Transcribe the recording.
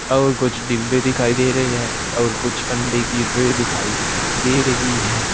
और कुछ डिब्बे दिखाई दे रहे है और कुछ अंडे की ट्रे दिखाई दे रही है।